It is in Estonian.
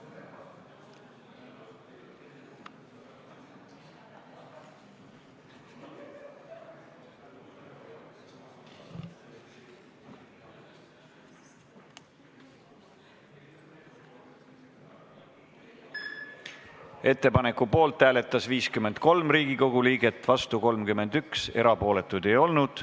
Hääletustulemused Ettepaneku poolt hääletas 53 Riigikogu liiget, vastu oli 31, erapooletuid ei olnud.